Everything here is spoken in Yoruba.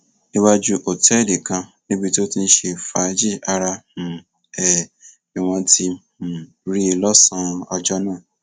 iwájú òtẹẹlì kan níbi tó ti ń ṣe fàájì ara um ẹ ni wọn ti um rí i lọsànán ọjọ náà